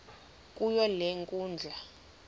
kuyo le nkundla